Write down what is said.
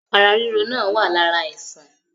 Ara ríro náà wá lára àìsàn.